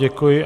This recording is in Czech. Děkuji.